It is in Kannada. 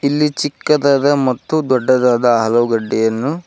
ಇಲ್ಲಿ ಚಿಕ್ಕದಾದ ಮತ್ತು ದೊಡ್ಡದಾದ ಆಲೂಗಡ್ಡೆಯನ್ನು--